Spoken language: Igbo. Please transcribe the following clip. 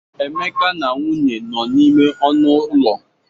Emeka na nwunye nọ n'ime ọnụ ụlọ.